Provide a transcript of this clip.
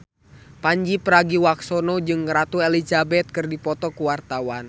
Pandji Pragiwaksono jeung Ratu Elizabeth keur dipoto ku wartawan